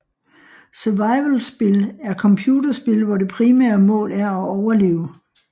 Survivalspil er computerspil hvor det primære mål er at overleve